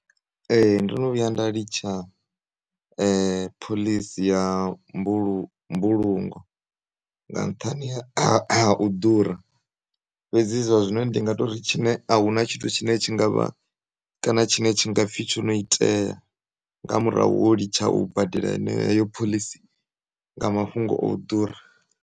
E, ndono vhuya nda litsha pholisi ya mbulu, mbulungo nga nṱhani ha uḓura fhedzi zwa zwino ndi ngatori tshine, ahuna tshithu tshine tshingavha, kana tshine tshingapfi tshono iteya nga murahu holitsha u badela hene heyo pholisi nga mafhungo oḓura